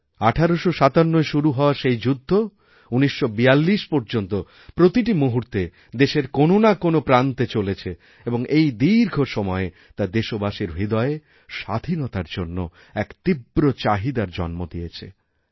১৮৫৭য় শুরু হওয়া সেই যুদ্ধ ১৯৪২ পর্যন্ত প্রতিটি মুহূর্তেদেশের কোন না কোনও প্রান্তে চলেছে এবং এই দীর্ঘ সময়ে তা দেশবাসীর হৃদয়ে স্বাধীনতারজন্য এক তীব্র চাহিদার জন্ম দিয়েছে